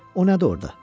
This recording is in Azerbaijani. O nədir orda?